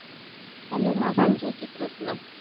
hello માસી જી જય શ્રી ક્રષ્ણ